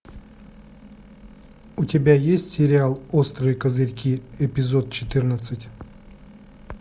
у тебя есть сериал острые козырьки эпизод четырнадцать